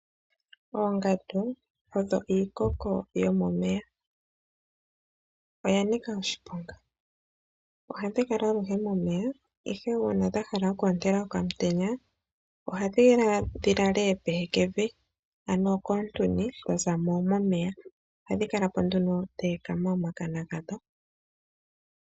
Oongandu odho iikoko yomomeya. Odha nika oshiponga. Ohadhi kala aluhe momeya ihe uuna dha hala oku ontela okaantenya ohadhi ya dhi lale pehekevi ano koontuni dha za mo momeya. Ohadhi kala po nduno dha ekama omakana gadho.